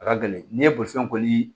A ka gɛlɛn n'i ye bolifɛn koli